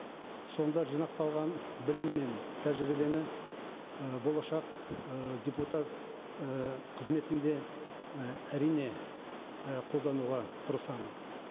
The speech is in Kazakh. сонда жинақталған білім мен тәжірибені ы болашақ ы депутат ы қызметімде і әрине і қолдануға тырысамын